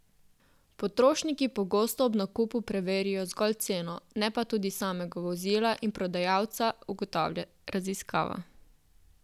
Potrošniki pogosto ob nakupu preverijo zgolj ceno, ne pa tudi samega vozila in prodajalca, ugotavlja raziskava.